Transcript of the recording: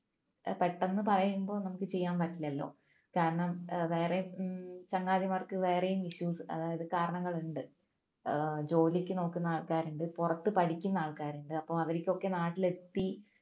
ഏർ പെട്ടെന്ന് പറയുമ്പോൾ നമുക്ക് ചെയ്യാൻ പറ്റില്ലല്ലോ കാരണം ഏർ വേറെ മ്മ് ചങ്ങാതിമാർക്ക് വേറെയും issues വേറെയും കാരണങ്ങളുണ്ട് ജോലിക്ക് നോക്കുന്ന ആൾക്കാരുണ്ട് പുറത്ത് പഠിക്കുന്ന ആൾക്കാരുണ്ട് അവർക്കൊക്കെ നാട്ടിലെത്തി